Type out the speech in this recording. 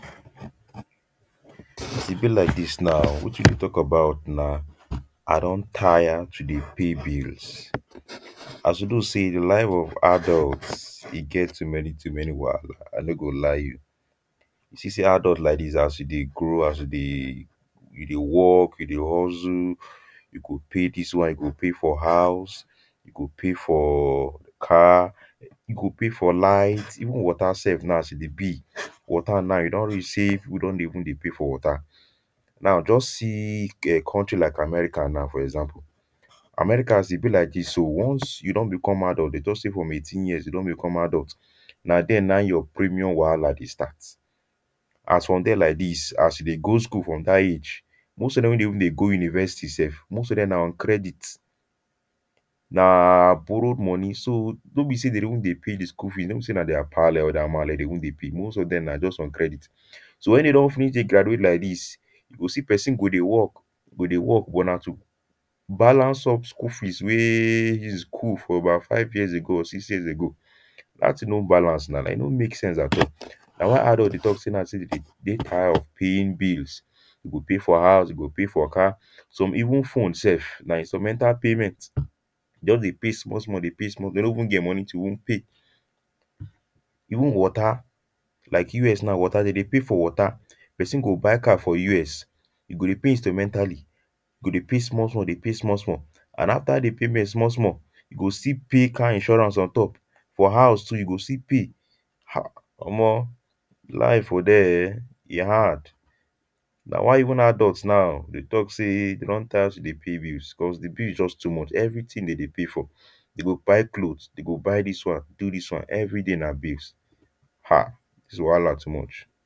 as e be like this now wetin we deh talk about nah i don tire to deh pay bills as we know say the life of adults e get too many to many wahala i no go lie you see say adult like this as you deh grow as you deh you deh work you deh hustle you go pay this one you go pay for house go pay for car you go pay for light even water sef now as e deh be water now e don reach say we don deh even deh pay for water now just see um country like America now for example America as e be like this so once you don become adult they talk say from eighteen years you don become adult nah there nah in you premium wahala deh start as from there like this as you deh go school from that age most of them weh deh even deh go university sef most of them nah on credit nahhh borrowed money so no be say them don deh pay the school fees no be say their pale or male deh even deh pay most of them nah just on credit so when they don finish deh graduate like this you go see person go deh work go deh work but nah to balance up school fees weyyy he school for about five years ago or six years ago that thing no balance nah e no make sense at all nah why adult deh talk say nah so them deh deh tired of paying bills you go pay for house you go pay for car some even phone sef nah installmental payment they just deh pay small small dey pay small them no deh even get money to pay even water like U.S now water them deh pay for water person go buy car for U.S you go dey pay installmentally e go deh pay small small deh pay small small and after deh payment small small e go still pay car insurance ontop for house too e go still pay um omor life there um e hard nah why even adults now deh talk say them don tire to deh pay bills cause the bill is just too much everything them deh pay for you go buy clothes e go buy this one do this one everyday nah bills um dis wahala too much.